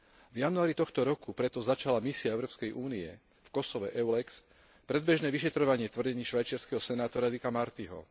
V januári tohto roku preto začala misia Európskej únie v Kosove EULEX predbežné vyšetrovanie tvrdení švajčiarskeho senátora Dicka Martyho.